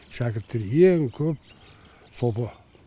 шәкірттері ең көп сопы